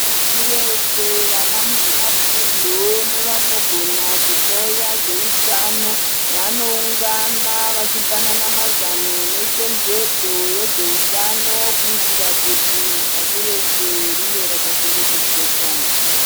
Pasirese vanamuzvinafundo nevanogona kuloya zvewutano vanowungana vachipanana mazano nechenjedzo yezvewutano kuitira kuti pasi rese rive rakachengetedzeka.